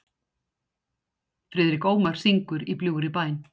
Friðrik Ómar syngur „Í bljúgri bæn“.